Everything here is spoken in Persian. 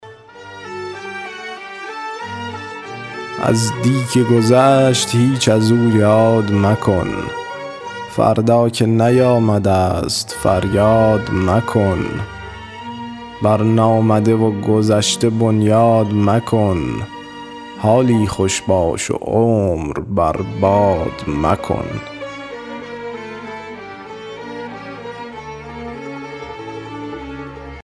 از دی که گذشت هیچ از او یاد مکن فردا که نیامده ست فریاد مکن بر نامده و گذشته بنیاد مکن حالی خوش باش و عمر بر باد مکن